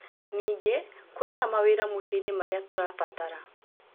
Ningĩ, kũrĩ na mawĩra mũci-inĩ marĩa tũrabatara